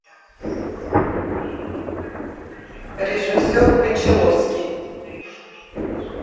режиссер кончаловский